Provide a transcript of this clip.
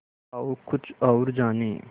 आओ कुछ और जानें